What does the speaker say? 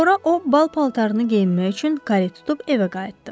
Sonra o bal paltarını geyinmək üçün karetə minib evə qayıtdı.